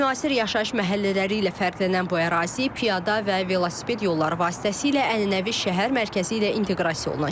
Müasir yaşayış məhəllələri ilə fərqlənən bu ərazi piyada və velosiped yolları vasitəsilə ənənəvi şəhər mərkəzi ilə inteqrasiya olunacaq.